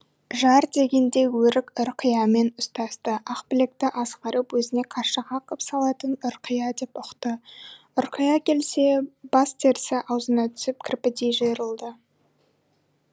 жар дегенде өрік ұрқиямен ұстасты ақбілекті азғырып өзіне қаршыға қып салатын ұрқия деп ұқты ұрқия келсе бас терісі аузына түсіп кірпідей жиырылды